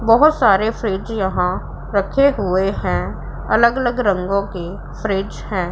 बहोत सारे फ्रिज यहां रखे हुए हैं अलग अलग रंगों के फ्रिज है।